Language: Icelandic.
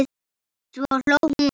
Svo hló hún.